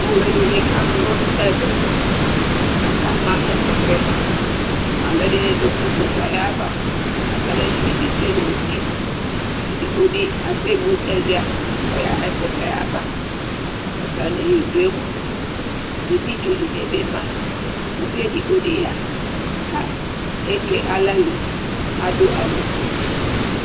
Alʋɛdìní kana ɔlu nʋ ɛvɛ Akama ɛkʋtɛ Alʋɛdìní du ɛkutɛ ayʋ ava lakʋ alʋɛdìní tsʋe nʋ ʋti Ɛdigbo di ɛsɛmu ɛlʋia kʋ ɔyaha ɛkutɛ yɛ ava Atami idu mʋa editsu dìní bi ma Ʋvi ɛdigbo bi ya kʋ eke aɣla lɛ, adu awu fʋe